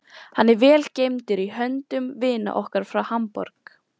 Hann er vel geymdur í höndum vina okkar frá Hamborg.